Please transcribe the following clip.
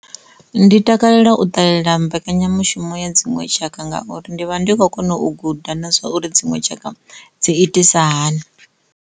Ndi takalela u ṱalela mbekanyamushumo ya dziṅwe tshaka ngauri ndi vha ndi khou kona u guda na zwa uri dziṅwe tshaka dzi itisa hani.